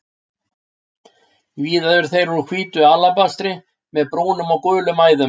Víða eru þeir úr hvítu alabastri með brúnum og gulum æðum.